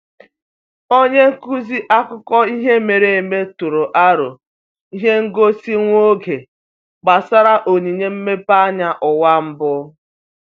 Onye nkuzi akụkọ ihe mere eme tụrụ aro ihe ngosi nwa oge gbasara onyinye mmepeanya ụwa mbụ.